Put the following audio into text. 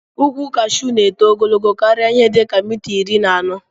Ukwu kashu na eto ogologo karia ihe dika mita iri na anọ